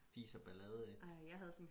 fis og ballade ikke